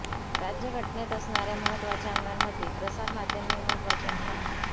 राज्यघटनेत असणार्या महत्वाच्या अंगांमध्ये प्रसारमाध्यम हे महत्वाचे अंग आहे